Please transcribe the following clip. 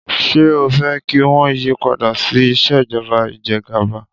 Ṣé o fẹ́ kí wọ́n yí padà sí ìṣèjọba ìjẹgàba?